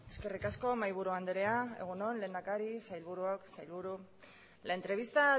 eskerrik asko mahaiburu andrea egun on lehendakari sailburuok sailburu la entrevista